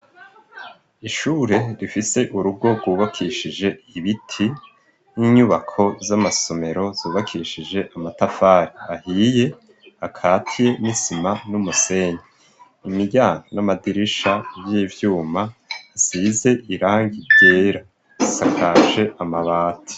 Ishure rifise urugo rwubakishije ibiti n'inyubako z'amasomero zubakishije amatafari ahiye, akavye n'isima n'umusenyi. Imiryango n'amadirisha y'ivyuma asize irangi ryera bisakaje amabati.